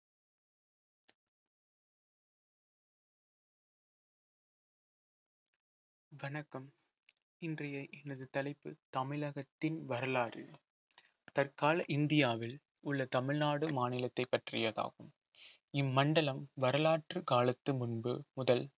வணக்கம் இன்றைய எனது தலைப்பு தமிழகத்தின் வரலாறு தற்கால இந்தியாவில் உள்ள தமிழ்நாடு மாநிலத்தை பற்றியதாகும் இம்மண்டலம் வரலாற்று காலத்து முன்பு முதல்